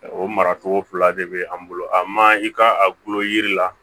O maracogo fila de bɛ an bolo a man i ka a bolo yiri la